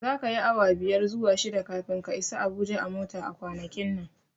Zaka yi awa biyar zuwa shida kafin ka isa Abuja a mota a kwanakin nan.